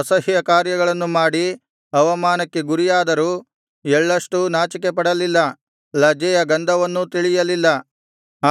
ಅಸಹ್ಯಕಾರ್ಯಗಳನ್ನು ಮಾಡಿ ಅವಮಾನಕ್ಕೆ ಗುರಿಯಾದರೂ ಎಳ್ಳಷ್ಟೂ ನಾಚಿಕೆಪಡಲಿಲ್ಲ ಲಜ್ಜೆಯ ಗಂಧವನ್ನೂ ತಿಳಿಯಲಿಲ್ಲ